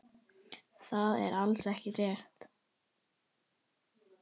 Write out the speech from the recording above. Það er alls ekki rétt.